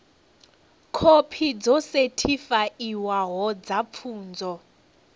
khophi dzo sethifaiwaho dza pfunzo